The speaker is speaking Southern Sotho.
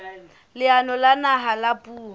leanong la naha la puo